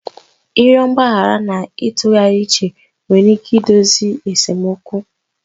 Ịrịọ mgbaghara na itughari uche nwere ike idozi esemokwu